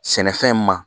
Sɛnɛfɛn ma